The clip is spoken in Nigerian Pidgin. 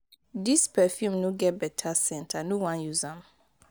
dis perfume no get beta scent i no wan use am.